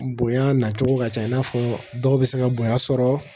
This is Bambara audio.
Bonya na cogo ka ca i n'a fɔ dɔw bɛ se ka bonya sɔrɔ